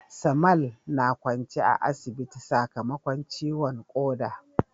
Samal na kwance a asibiti sakamakon ciwon koda